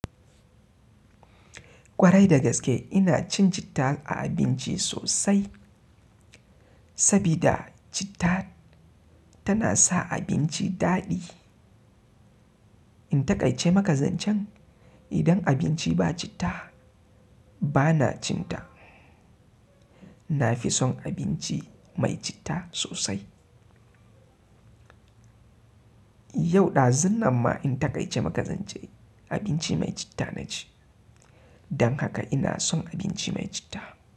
Kwarai da gaske ina cin citta a abinci sosai sabida citta tana sa abinci daɗi. In taƙaice maka zancen idan abinci ba citta bana cin ta. Na fi son abinci mai citta sosai. Yau ɗazun nan ma in taƙaice maka zance abinci mai citta na ci. Don haka ina son abinci mai citta.